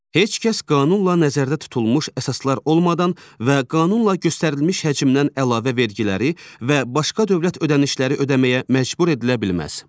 Heç kəs qanunla nəzərdə tutulmuş əsaslar olmadan və qanunla göstərilmiş həcmdən əlavə vergiləri və başqa dövlət ödənişləri ödəməyə məcbur edilə bilməz.